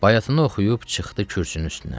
Bayatını oxuyub çıxdı kürsünün üstünə.